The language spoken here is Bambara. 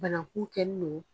Banakun kɛn nɔ..